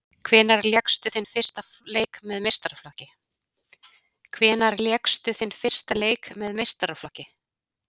Hvenær lékstu þinn fyrsta leik með meistaraflokki?